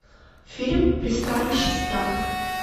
фильм пристанище страха